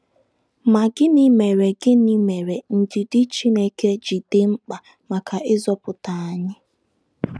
Ma, gịnị mere gịnị mere ndidi Chineke ji dị mkpa maka ịzọpụta anyị?